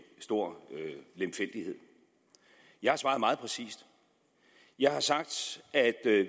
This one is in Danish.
stor lemfældighed jeg har svaret meget præcist jeg har sagt at